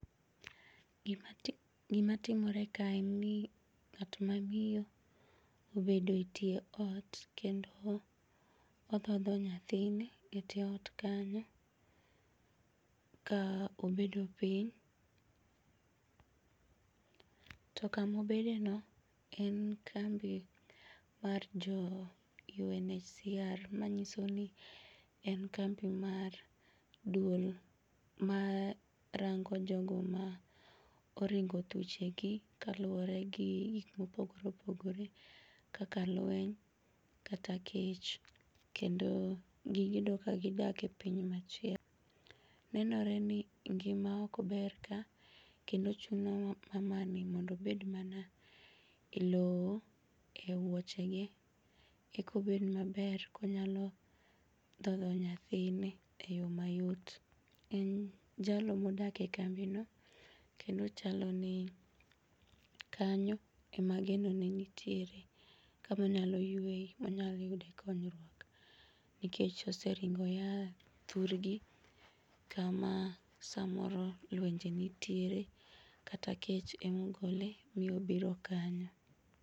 Gimatimore kae en ni ng'at ma miyo obedo e tie ot kendo odhodho nyathine e tie ot kanyo ka obedo piny. To kamobedeno en kambi mar jo UNHCR manyisoni en kambi mar duol marango jogo maoringo thuchegi kaluore gi gik maopogore opogore kaka lueny kata kech kendo gigedo kagidake piny machielo. Nenore ni ngima okber ka kendo chuno mamani mondo obed mana e loo e wuochege ekobed maber konyalo dhodho nyathine e yoo mayot. En jalno modake kambino kendo chaloni kanyo ema genone nitiere kamonyalo yueye, onyaloyude konyruok nikech oseringo oyaa thurgi kama samoro luenje nitiere kata kech emogole miyobiro kanyo.